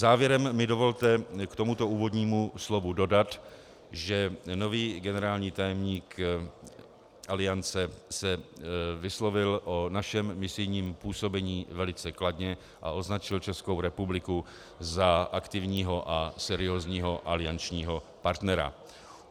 Závěrem mi dovolte k tomuto úvodnímu slovu dodat, že nový generální tajemník Aliance se vyslovil o našem misijním působení velice kladně a označil Českou republiku za aktivního a seriózního aliančního partnera.